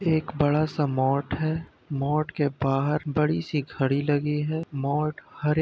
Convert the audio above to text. एक बड़ा सा मोट है मोट के बाहर बड़ी सी घड़ी लगी है मोट हरे --